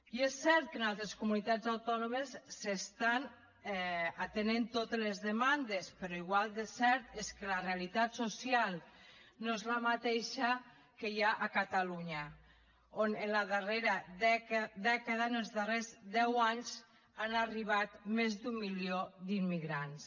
i és cert que en altres comunitats autònomes s’estan atenent totes les demandes però igual de cert és que la realitat social no és la mateixa que hi ha a catalunya on en la darrera dècada en els darrers deu anys han arribat més d’un milió d’immigrants